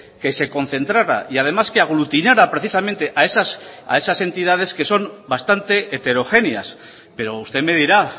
que se concentrara y además que aglutinara precisamente a esas entidades que son bastante heterogéneas pero usted me dirá